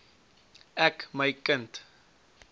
ek my kind